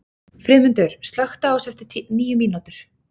Friðmundur, slökktu á þessu eftir níu mínútur.